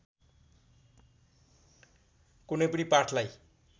कुनै पनि पाठलाई